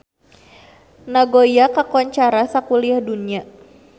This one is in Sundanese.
Nagoya kakoncara sakuliah dunya